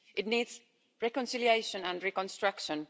It needs reconciliation and reconstruction